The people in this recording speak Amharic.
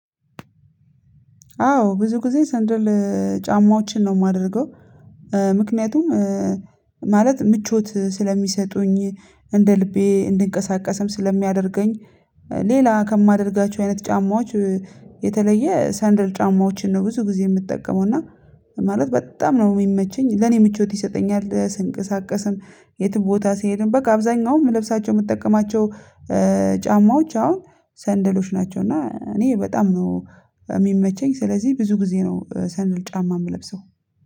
አዎ ብዙ ግዜ ሰንደር ለ ጫማዎችን ነው የማደርገው። ምክንያቱም ማለት ምቾት ስለሚሰጡኝ እንደ ልቤ እንድንቀሳቀስም ስለሚያደርገኝ። ሌላ ከማደርጋቸው አይነት ጫማዎች። የተለየ ሰንደል ጫማዎችን ነው ብዙ ጊዜ የምጠቀመው እና ማለት በጣም ነው የሚመቸኝ ለኔ ምቾት ይሰጠኛል ስንቀሳቀስም። የትም ቦታ ስሄድም በቃ አብዛኛውም ለብሳቸው የምትጠቀማቸው ጫማዎች አሁን ሰንደሎች ናቸው። እና እኔ በጣም ነው የሚመቸኝ ስለዚህ ብዙ ግዜ ነው ሰንደል ጫማ የምለብሰው